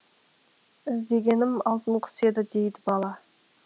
іздегенім алтын құс еді дейді бала